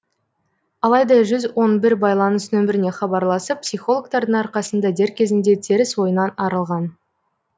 алайда жүз он бір байланыс нөміріне хабарласып психологтардың арқасында дер кезінде теріс ойынан арылған